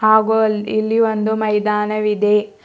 ಹಾಗು ಅಲ್ ಇಲ್ಲಿ ಒಂದು ಮೈದಾನವಿದೆ.